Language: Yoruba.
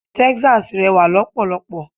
Texas rẹwà lọ́pọ̀lọ́pọ̀.